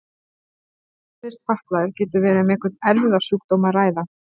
Þegar einstaklingur fæðist fatlaður getur verið um einhvern erfðasjúkdóm að ræða.